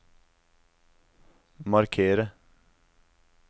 markere